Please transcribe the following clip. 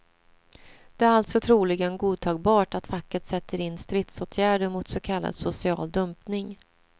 Det är alltså troligen godtagbart att facket sätter in stridsåtgärder mot så kallad social dumpning.